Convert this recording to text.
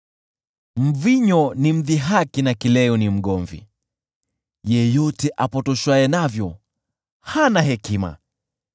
Mvinyo ni mdhihaki na kileo ni mgomvi; yeyote apotoshwaye navyo hana hekima.